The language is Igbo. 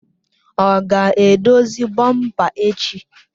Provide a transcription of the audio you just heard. Ọ ga-edozi bọmpa echi?